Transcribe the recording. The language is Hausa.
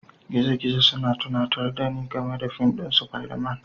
Gizogizo suna tunatar da ni game da fim ɗin Spiderman